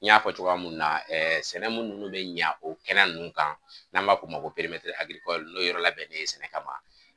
N y'a fɔ cogoya min na ɛɛ sɛnɛ minnu bɛ ɲɛ o kɛnɛ ninnu kan n'an b'a f'o ma ko n'o yɔrɔ labɛnnen ye sɛnɛ kama